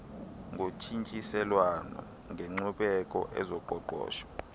zotshintshiselwano ngenkcubeko ezoqoqosho